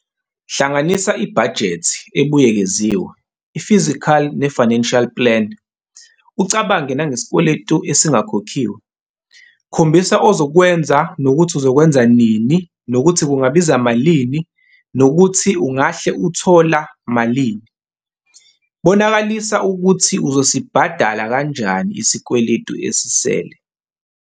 Hlanganisa ibhajethi ebuyekeziwe, i-physical ne-financial plan, ucabange nangesikweletu esingakhokhiwe. Khombisa ozokwenza nokuthi uzokwenza nini nokuthi kungabiza malini nokuthi ungahle uthola malini. Bonakalisa ukuthi uzosibhadala kanjani isikweletu esisele.